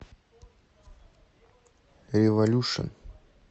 революшн